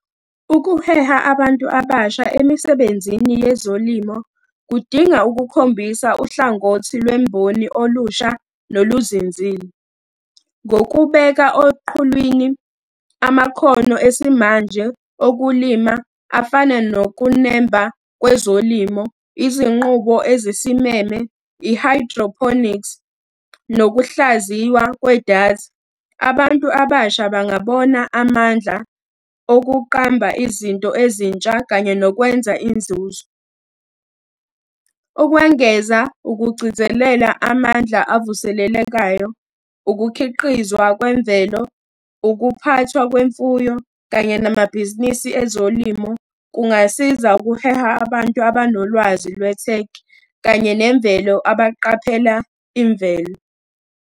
Ukuheha abantu abasha emisebenzini yezolimo kudinga ukukhombisa uhlangothi lwemboni olusha noluzinzile. Ngokubeka oqhulwini amakhono esimanje okulima afana nokunemba kwezolimo, izinqubo ezisimeme, i hydroponics, nokuhlaziywa kwedatha, abantu abasha bangabona amandla okuqamba izinto ezintsha kanye nokwenza inzuzo. Ukwengeza ukugcizelela amandla avuselelekayo, ukukhiqizwa kwemvelo, ukuphathwa kwemfuyo kanye namabhizinisi ezolimo, kungasiza ukuheha abantu abanolwazi lwe-tech kanye nemvelo abaqaphela imvelo.